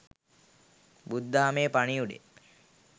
බුදුදහමේ පණිවුඩය